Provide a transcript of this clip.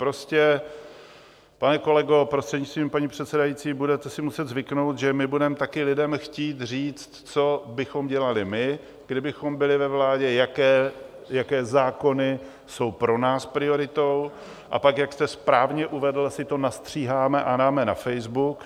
Prostě, pane kolego, prostřednictvím paní předsedající, budete si muset zvyknout, že my budeme taky lidem chtít říct, co bychom dělali my, kdybychom byli ve vládě, jaké zákony jsou pro nás prioritou, a pak, jak jste správně uvedl, si to nastříháme a dáme na Facebook.